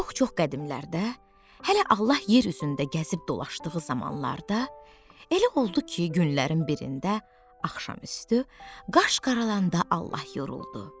Çox-çox qədimlərdə hələ Allah yer üzündə gəzib dolasdığı zamanlarda, elə oldu ki, günlərin birində axşam üstü qaş qaralanda Allah yoruldu.